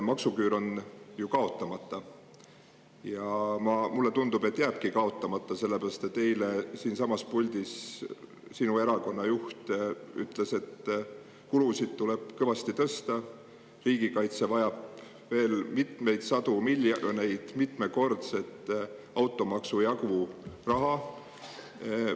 Maksuküür on ju kaotamata ja mulle tundub, et jääbki kaotamata, sellepärast et eile siinsamas puldis teie erakonna juht ütles, et kulusid tuleb kõvasti tõsta, riigikaitse vajab veel mitmeid sadu miljoneid, mitmekordse automaksu jagu raha.